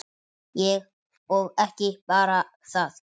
Og ekki bara það